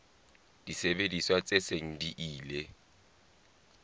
disebediswa tse seng di ile